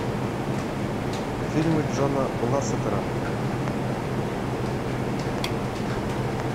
фильмы джона лассетера